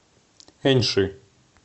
эньши